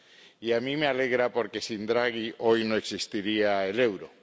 Y a mí me alegra, porque sin Draghi hoy no existiría el euro.